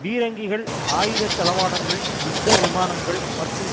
பீரங்கிகள் ஆயுத தளவாடங்கள் யுத்த விமானங்கள் மற்றும்